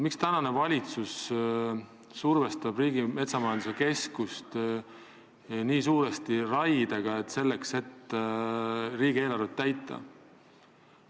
Miks tänane valitsus survestab Riigimetsa Majandamise Keskust nii suuresti raiega, selleks et riigieelarvet täita?